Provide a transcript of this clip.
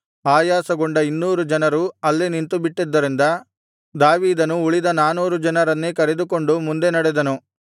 ಆಯಾಸಗೊಂಡ ಇನ್ನೂರು ಜನರು ಅಲ್ಲೇ ನಿಂತುಬಿಟ್ಟದ್ದರಿಂದ ದಾವೀದನು ಉಳಿದ ನಾನೂರು ಜನರನ್ನೇ ಕರೆದುಕೊಂಡು ಮುಂದೆ ನಡೆದನು